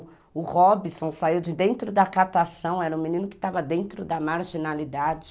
O Robson saiu de dentro da catação, era um menino que estava dentro da marginalidade.